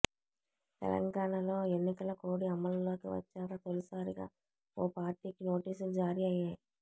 తెలంగాణలో ఎన్నికల కోడ్ అమలులోకి వచ్చాక తొలిసారిగా ఓ పార్టీకి నోటీసులు జారీ అయ్యాయి